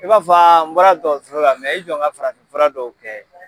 I b'a fɔ n bɔra dɔsola i jɔ n ka farafinfura dɔw kɛ.